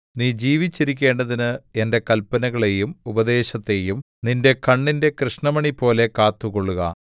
നീ ജീവിച്ചിരിക്കേണ്ടതിന് എന്റെ കല്പനകളെയും ഉപദേശത്തെയും നിന്റെ കണ്ണിന്റെ കൃഷ്ണമണിപോലെ കാത്തുകൊള്ളുക